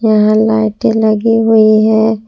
यहां लाइटे लगी हुई है।